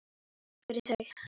Takk fyrir þau.